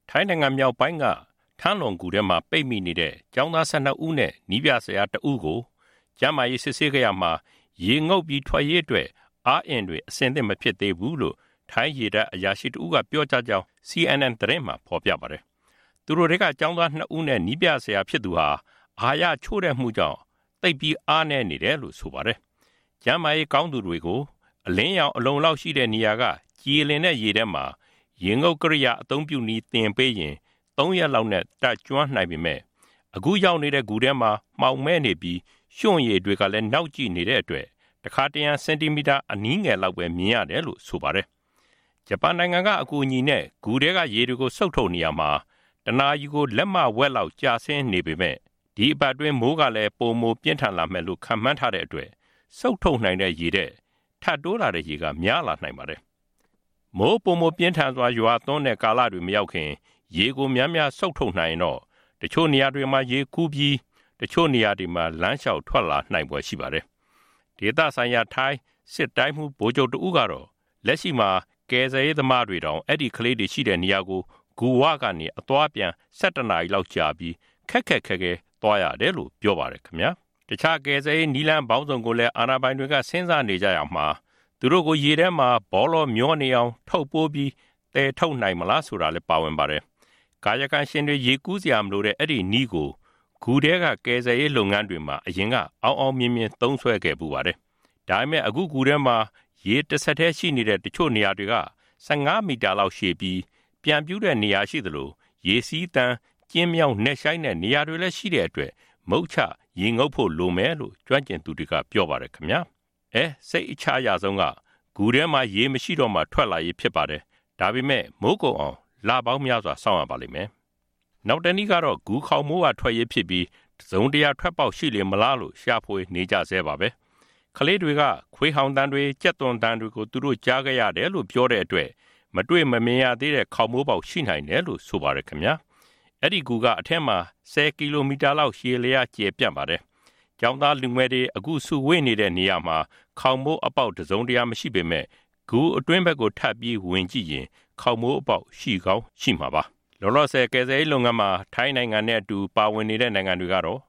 ထိုင်းနိုင်ငံ မြောက်ပိုင်းက ထမ်းလွမ်ဂူထဲမှာ ပိတ်မိနေတဲ့ ကျောင်းသား ၁၂ ဦးနဲ့ နည်းပြဆရာ တစ်ဦးကို ကျန်းမာရေး စစ်ဆေးခဲ့ရာမှာ ရေငုပ်ပြီး ထွက်ရေးအတွက် အားအင်တွေ အဆင်သင့်မဖြစ်သေးဘူးလို့ ထိုင်းရေတပ် အရာရှိ တစ်ဦးက ပြောကြားကြောင်း CNN သတင်းမှာ ဖေါ်ပြထားပါတယ်။ သူတို့ထဲက ကျောင်းသား ၂ ဦးနဲ့ နည်းပြ ဆရာဖြစ်သူဟာ အဟာရချို့တဲ့မှုကြောင့် သိပ်ပြီးအားနည်းနေကြတယ်လို့ ဆိုပါတယ်။ ကျန်းမာရေး ကောင်းသူတွေ ကို အလင်းရောင် အလုံအလောက်ရှိတဲ့နေရာက ကြည်လင်တဲ့ရေထဲမှာ ရေငုပ်ကရိယာ အသုံးပြုနည်းသင်ပေးရင် ၃ ရက်လောက်နဲ့ တတ်ကျွမ်းနိုင်ပေမယ့် အခုရောက်နေတဲ့ ဂူထဲမှာ မှောင်မဲနေပြီး ရွှံ့ရေတွေကလည်း နောက်ကျိနေတဲ့ အတွက် တခါတရံ စင်တီမီတာအနည်းငယ်လောက်ပဲ မြင်ရတယ်လို့ ဆိုပါတယ်။ ဂျပန်နိုင်ငံက အကူအညီနဲ့ ဂူထဲက ရေကိုစုပ်ယူနေရာမှာ တစ်နာရီကို လက်မဝက်လောက် ကျဆင်းနေပေမယ့် ဒီအပတ်အတွင်း မိုးကလည်း ပိုမိုပြင်းထန်လာမယ်လို့ ခန့်မှန်းထားတဲ့အတွက် စုပ်ထုတ်နိုင်တဲ့ရေထက် ထပ်တိုး လာတဲ့ရေက များလာနိုင်ပါတယ်။ မိုးပိုမိုပြင်းထန်စွာ ရွာသွန်းတဲ့ကာလတွေ မရောက်ခင် ရေကို များများစုပ်ထုတ်နိုင် ရင်တော့ ကလေးတွေ တချို့နေရာတွေမှာ ရေကူးပြီး တချို့နေရာတွေမှာ လမ်းလျှောက်ထွက်လာနိုင်ဖွယ်ရှိပါတယ်။ ဒေသဆိုင်ရာ ထိုင်း စစ်တိုင်းမှူး ဗိုလ်ချုပ်တစ်ဦးက လက်ရှိမှာ ကယ်ဆယ်ရေး သမားတွေတောင် အဲဒီကလေးတွေ ရှိရာကို ဂူဝကနေ အသွားအပြန် ၁၁ နာရီကြာပြီး ခက်ခက်ခဲခဲ သွားရတယ်လို့ ပြောပါတယ်။ တခြားကယ်ဆယ်ရေး နည်းလမ်းပေါင်းစုံကို အာဏာပိုင်တွေက စဉ်းစားနေကြရာမှာ သူတို့ကို ရေထဲမှာ ပေါလောမျောနေအောင် ထုပ်ပိုးပြီး သယ်ထုတ်နိုင်မလားဆိုတာလည်း ပါဝင်ပါတယ်။ ကာယကံရှင်တွေ ရေကူးစရာမလိုတဲ့ အဲဒီနည်းကို ဂူထဲက ကယ်ဆယ်ရေးလုပ်ငန်းတွေမှာ အရင်က အောင်အောင်မြင်မြင် သုံးစွဲဖူးပါတယ်။ ဒါပေမဲ့ ဂူထဲမှာ ရေတဆက်တည်းရှိနေတဲ့ တချို့နေရာတွေက ၁၅ မီတာလောက်ရှည်ပြီး ပြန့်ပြူးတဲ့နေရာတွေရှိသလို ရေစီးသန်ပြီး ကျဉ်းမြောင်းနက်ရှိုင်းတဲ့ နေရာတွေလည်းရှိတဲ့အတွက် မုချရေငုပ်ဖို့လိုမယ်လို့ ကျွမ်းကျင်သူတွေက ပြောပါတယ်။ စိတ်အချရဆုံးက ဂူထဲမှာ ရေမရှိတော့မှ ထွက်လာရေးဖြစ်ပေမယ့် မိုးကုန်အောင် လပေါင်းများစွာ စောင့်ရပါလိမ့် မယ်။ နောက်တနည်းကတော့ ဂူခေါင်မိုးကထွက်ရေးဖြစ်ပြီး တစ်စုံတစ်ရာ ထွက်ပေါက်ရှိလေမလားလို့ ရှာဖွေနေကြဆဲပါပဲ။ ကလေးတွေက ခွေးဟောင်သံတွေ ကြက်တွန်သံတွေကို ကြားခဲ့ရတယ်လို့ ပြောတဲ့အတွက် မတွေ့မမြင်ရသေးတဲ့ ခေါင်မိုးပေါက်ရှိနိုင်တယ်လို့ ဆိုပါတယ်။ အဲဒီဂူက အထဲမှာ ၁ဝ ကီလိုမီတာလောက် ရှည်လျှားကျယ်ပျံ့ပါတယ်။ ကျောင်းသားလူငယ်တွေ အခုစုဝေးနေတဲ့နေရာမှာ ခေါင်မိုးအပေါက်တစ်စုံတစ်ရာ မရှိပေမယ့် ဂူအတွင်းဘက်ကို ထပ်ပြီးဝင်ကြည့်ရင် ခေါင်မိုးပေါက် ရှိကောင်းရှိမှာပါ။ ကယ်ဆယ်ရေးလုပ်ငန်းမှာ ထိုင်းနိုင်ငံကို လက်ရှိပါဝင်ကူညီနေတဲ့ နိုင်ငံတွေကတော့